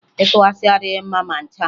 Ịtụ asị adịghị mma ma ncha